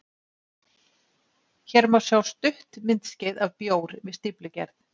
Hér má sjá stutt myndskeið af bjór við stíflugerð.